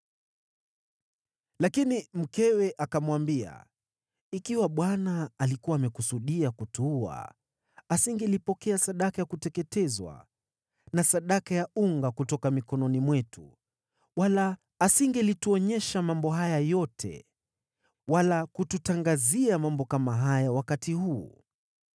Lakini mkewe akamwambia, “Ikiwa Bwana alikuwa amekusudia kutuua, asingelipokea sadaka ya kuteketezwa na sadaka ya unga kutoka mikononi mwetu, wala asingelituonyesha mambo haya yote wala kututangazia mambo kama haya wakati huu.”